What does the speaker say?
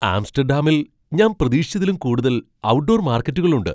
ആംസ്റ്റഡാമിൽ ഞാൻ പ്രതീക്ഷിച്ചതിലും കൂടുതൽ ഔട്ട്ഡോർ മാർക്കറ്റുകൾ ഉണ്ട്.